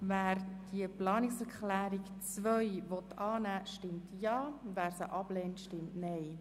Wer diese Planungserklärung annehmen will, stimmt Ja, wer diese ablehnt, stimmt Nein.